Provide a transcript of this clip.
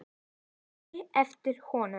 Ég þaut á eftir honum.